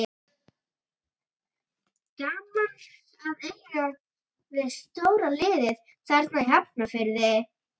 Gaman að eiga við stóra liðið þarna í Hafnarfirði.